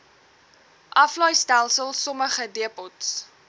aflaaistelsel sommige depots